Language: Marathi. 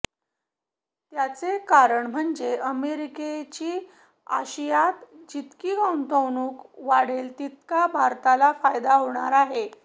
त्याचे कारण म्हणजे अमेरिकेची आशियात जितकी गुंतवणूक वाढेल तितका भारताला फायदा होणार आहे